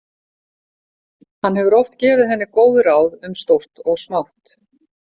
Hann hefur oft gefið henni góð ráð um stórt og smátt.